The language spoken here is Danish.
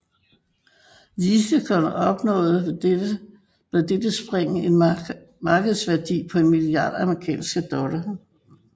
Litecoin opnåede med dette spring en markedsværdi på en milliard amerikanske dollar